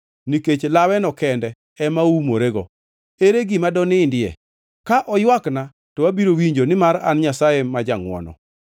nikech laweno kende ema oumorego. Ere gima donindie? Ka oywakna, to abiro winjo, nimar an Nyasaye ma jangʼwono.